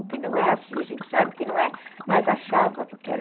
O que não é assim, a gente sabe que não é. Mas achava, porque era...